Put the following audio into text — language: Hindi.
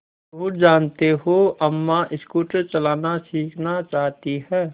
और जानते हो अम्मा स्कूटर चलाना सीखना चाहती हैं